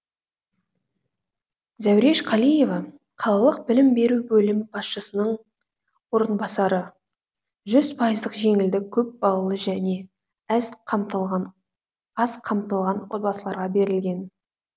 зәуреш қалиева қалалық білім беру бөлімі басшысының орынбасары жүз пайыздық жеңілдік көпбалалы және өз қамтылған аз қамтылған отбасыларға берілген